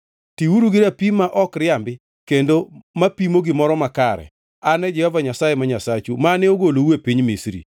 Tiuru gi rapim ma ok riambi kendo mapimo gimoro makare. An e Jehova Nyasaye ma Nyasachu mane ogolou e piny Misri.